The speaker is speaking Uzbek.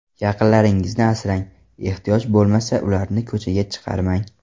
Yaqinlaringizni asrang, ehtiyoj bo‘lmasa ularni ko‘chaga chiqarmang.